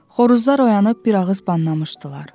Xoruzlar oyanıb bir ağız banlamışdılar.